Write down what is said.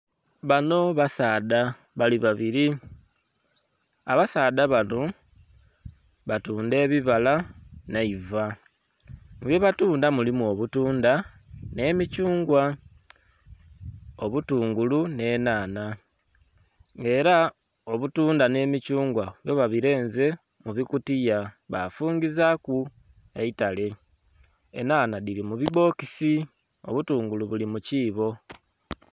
Bano basaadha bali babiri, abasaadha bano batunda ebibaala naiva kubye batunda mulimu obutundha n'emithungwa, obutungulu n'enhanha era obutundha n'emithungwa byo babirenze mubikutiya bafungizaku eitale, enhanha dhiri mubibbokisi obutungulu buli mukobo.